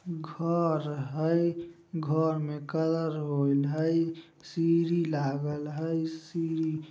घर हइ घर में कलर होइल हइ सीढ़ी लागल हइ सीढ़ी--